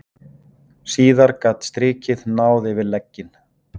Síðar gat strikið náð yfir legginn.